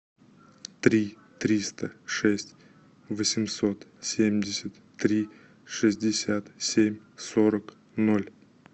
три триста шесть восемьсот семьдесят три шестьдесят семь сорок ноль